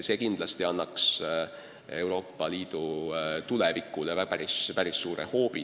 See annaks Euroopa Liidu tulevikule päris suure hoobi.